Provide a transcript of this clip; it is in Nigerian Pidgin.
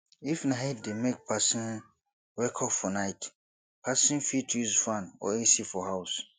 if na heat dey make person wake up for night person fit use fan or ac for house